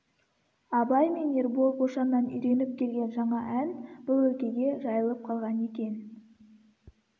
абай мен ербол бошаннан үйреніп келген жаңа ән бұл өлкеге жайылып қалған екен